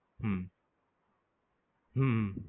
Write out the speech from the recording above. હમ હમ